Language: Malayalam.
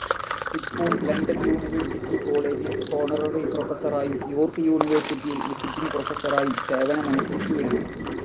ഇപ്പോൾ ലണ്ടൻ യൂണിവേഴ്സിറ്റി കോളേജിൽ ഹോണററി പ്രൊഫസറായും യോർക്ക് യൂണിവേഴ്സിറ്റിയിൽ വിസിറ്റിങ്‌ പ്രൊഫസറായും സേവനമനുഷ്ഠിച്ചു വരുന്നു.